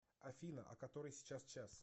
афина а который сейчас час